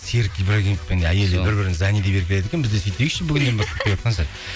серік ибрагимов пен әйелі бір бірін зани деп еркелетеді екен біз де сөйтейікші бүгіннен бастап деватқан шығар